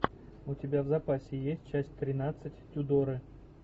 у тебя в запасе есть часть тринадцать тюдоры